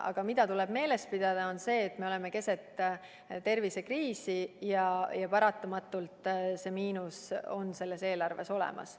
Aga mida tuleb meeles pidada, on see, et me oleme keset tervisekriisi ja paratamatult on miinus selles eelarves olemas.